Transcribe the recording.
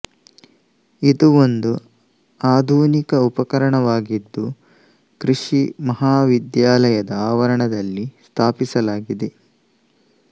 ಇದು ಒಂದು ಆಧುನಿಕ ಉಪಕರಣವಾಗಿದ್ದು ಕೃಷಿ ಮಹಾವಿದ್ಯಾಲಯದ ಆವರದಲ್ಲಿ ಸ್ಥಾಪಿಸಲಾಗಿದೆ